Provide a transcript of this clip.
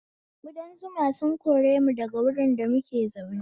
Kuda zuma sun koremu daga wurin da muke zaune